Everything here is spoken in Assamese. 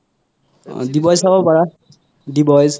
অহ the boy ছাব পাৰা the boys